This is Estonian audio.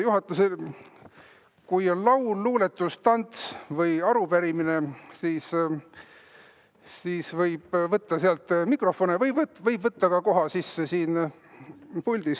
Juhatusel, kui on laul, luuletus, tants või arupärimine, siis võib võtta sealt mikrofone või võib võtta koha sisse ka siin puldis.